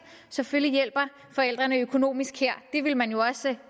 selvfølgelig hjælper økonomisk her det ville man jo også selv